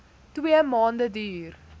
twee maande duur